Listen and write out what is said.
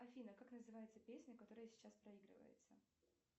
афина как называется песня которая сейчас проигрывается